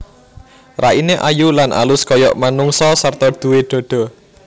Raine ayu lan alus kaya manungsa sarta duwé dhadha